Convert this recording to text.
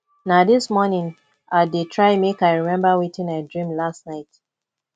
na dis morning i dey try make i remember wetin i dream last night